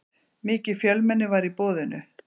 Mikið fjölmenni var í boðinu